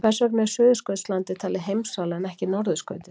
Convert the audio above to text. Hvers vegna er Suðurskautslandið talið heimsálfa en ekki norðurskautið?